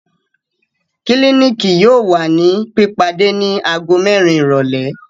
Kílinikì yóò wa ni pipade ni aago mẹrin irọlẹ